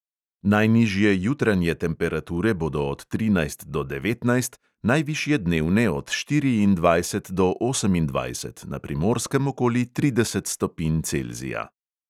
Najnižje jutranje temperature bodo od trinajst do devetnajst, najvišje dnevne od štiriindvajset do osemindvajset, na primorskem okoli trideset stopinj celzija.